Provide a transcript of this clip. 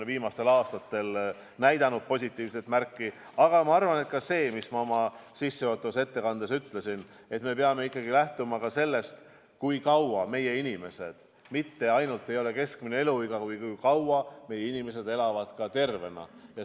Viimastel aastatel on see näidanud positiivset trendi, aga ma arvan, et nagu ma oma sissejuhatavas ettekandes ütlesin, me peame ikkagi lähtuma ka sellest, et tähtis ei ole ainult keskmine eluiga, vaid see, kui kaua meie inimesed elavad tervena.